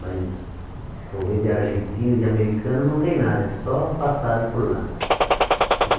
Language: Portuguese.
Mas se se for ver de argentino, e de americano, não tem nada, eles só passaram por lá.